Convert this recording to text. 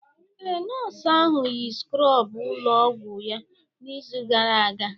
Ee, nọọsụ ahụ yi skrọbụ ụlọ ọgwụ ya n'izu gara aga.